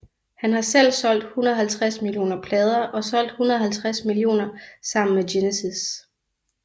Han har selv solgt 150 millioner plader og solgt 150 millioner sammen med Genesis